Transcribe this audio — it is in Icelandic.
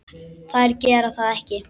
Þær gera það ekki.